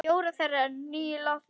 Fjórar þeirra eru nú látnar.